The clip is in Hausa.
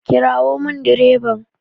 Kirawo min direban!